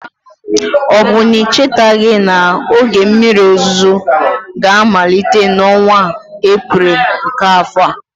Ọ bụ na ị chetaghị na oge mmiri ozuzo ga-amalite n'ọnwa Eprel nke afọ a?